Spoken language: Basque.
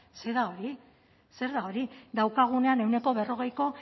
zer da hori zer da hori daukagunean ehuneko berrogeiko